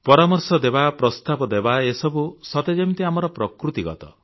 ପରାମର୍ଶ ଦେବା ପ୍ରସ୍ତାବ ଦେବା ଏସବୁ ସତେ ଯେମିତି ଆମ ପ୍ରକୃତିଗତ